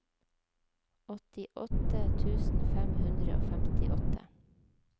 åttiåtte tusen fem hundre og femtiåtte